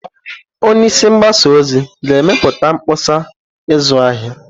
Onye isi mgbasa ozi ga-emepụta mkpọsa ịzụ ahịa.